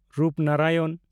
Rupnarayan